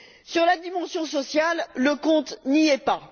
sur la dimension sociale, le compte n'y est pas.